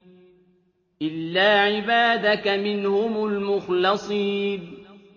إِلَّا عِبَادَكَ مِنْهُمُ الْمُخْلَصِينَ